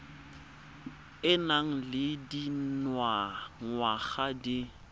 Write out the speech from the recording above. o nang le dingwaga di